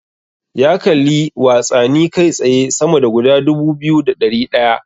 Ya kalli watsani kai tsaye sama da guda dubu biyu da ɗari ɗaya.